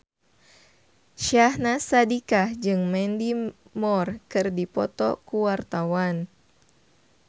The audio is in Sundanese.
Syahnaz Sadiqah jeung Mandy Moore keur dipoto ku wartawan